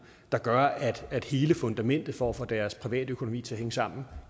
der gør at at hele fundamentet for at få deres privatøkonomi til at hænge sammen